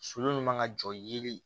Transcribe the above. Solu min man ka jɔ yeli